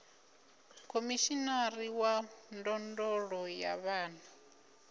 khomishinari wa ndondolo ya vhana